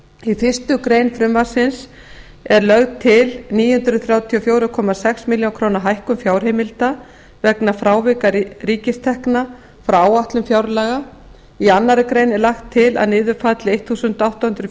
í fyrstu grein frumvarpsins er lögð til níu hundruð þrjátíu og fjögur komma sex milljónir króna hækkun fjárheimilda vegna frávika ríkistekna frá áætlun fjárlaga í annarri grein er lagt til að niður falli átján hundruð